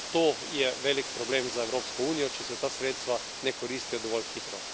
To je velik problem za Evropsko unijo, če se ta sredstva ne koristijo dovolj hitro.